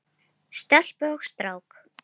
Stelpu og strák.